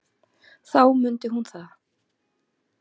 Þá mundi hún það.